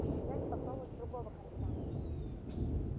а нельзя ли попробовать с другого конца